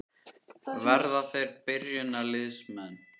Verða þeir byrjunarliðsmenn?